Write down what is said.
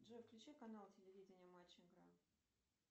джой включи канал телевидения матч игра